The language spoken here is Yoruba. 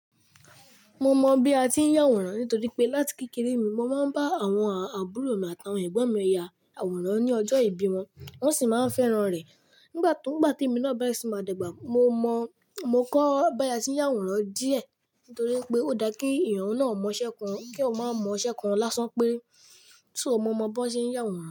Mo mọ bi a ti ń ya àwòrán nítorí pé láti kékeré mi mo máa ń bá àwọn àbúrò mi àtàwọn ẹ̀gbọ́n mi ya àwòrán ní ọjọ́ ìbí wọn wọ́n sì máa ń fẹ́ràn rẹ̀. Nigbati o— nígbàtí èmi náà bẹ̀ẹ̀rẹ̀ sí ní ma dàgbà, mo mọ, mo kọ́ bá ṣe ya àwòrán díẹ̀ nítorí pé ó dáa kí èèyàn náà mọ iṣẹ́ kan kí ó máa mọ iṣẹ́ kan lásán péré, so mò mọ bó ṣe ń ya àwòrán.